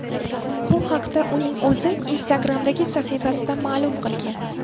Bu haqda uning o‘zi Instagram’dagi sahifasida ma’lum qilgan .